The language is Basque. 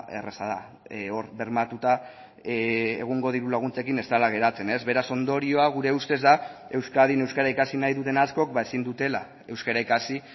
erraza da hor bermatuta egungo diru laguntzekin ez dela geratzen ez beraz ondorioa gure ustez da euskadin euskara ikasi nahi duten askok ba ezin dutela euskara ikasi